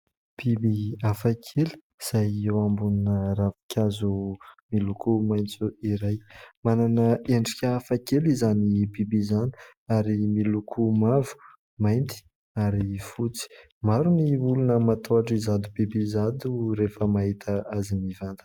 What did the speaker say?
Biby hafakely izay eo ambonina ravinkazo miloko maitso iray. Manana endrika hafakely izany biby izany ary miloko mavo, mainty ary fotsy. Maro ny olona matahotra izato biby izato rehefa mahita azy mivantana.